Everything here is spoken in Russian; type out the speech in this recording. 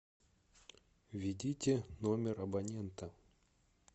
введите номер абонента